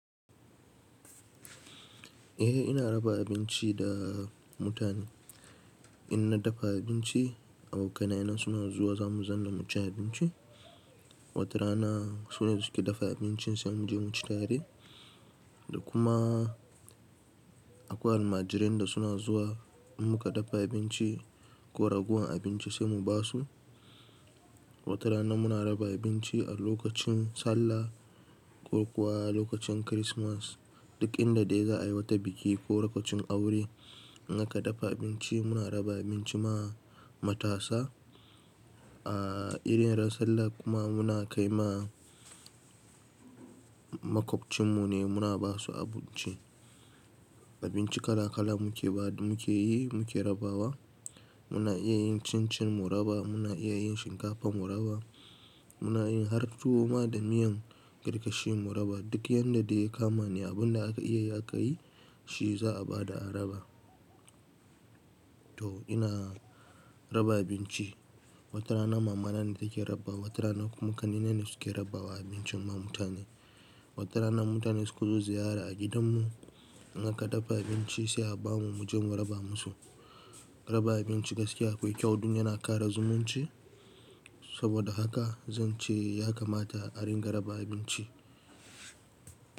Eh ina raba abinci da mutane. In na dafa abinci, abokanai na suna zuwa za mu zama mu ci abinci. Wata rana sune suke dafa abincin sai mu je mu ci tare. Da kuma akwai almajirai da suna zuwa in muka dafa abinci ko ragowan abinci sai mu ba su. Wata rana muna raba abinci a lokacin Sallah ko kuwa lokacin Kirismas. Duk inda dai za a yi wata biki ko lokacin aure muka dafa abinci muna raba abinci ma matasa. A irin ran Sallah kuma muna kai ma makwabcin mu ne muna ba su abinci. Abinci kala kala mu ke ba mu ke yi mu ke rabawa. Muna iya yin cin cin mu raba, muna iya yin shinkafa mu raba, muna yin har tuwo ma da miyan karkashi mu raba. Duk yanda dai ya kama ni abin da aka iya aka yi shi za a ba da a raba. To ina raba abinci. Wata rana mama na ne take raba, wata rana kuma kanina ne suke rabawa abinci ma mutane. Wata rana mutane su ka zo ziyara a gidan mu muka dafa abinci sai a ba mu mu je mu raba musu. Raba abinci gaskiya akwai kyau duk yana ƙara zumunci. Saboda haka zan ce ya kamata a ringa raba abinci.